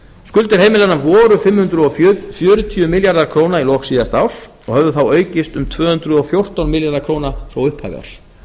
skuldir heimilanna voru um fimm hundruð fjörutíu milljarðar króna í lok síðasta árs og höfðu þá aukist um tvö hundruð og fjórtán milljarða króna frá upphafi ársins